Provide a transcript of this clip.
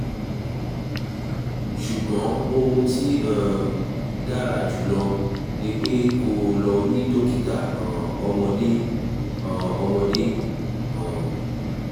ṣùgbọ́n ohun tó um dára jùlọ ni pé kó o lọ rí dókítà um ọmọdé um ọmọdé um